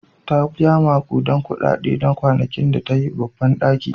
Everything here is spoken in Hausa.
Ta biya maƙudan kuɗaɗe na kwanakin da ta yi a babban ɗakin otal.